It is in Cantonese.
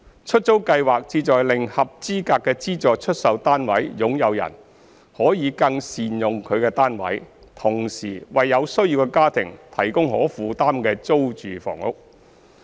出租計劃旨在令合資格的資助出售單位擁有人可更善用其單位，同時為有需要的家庭提供可負擔的租住房屋。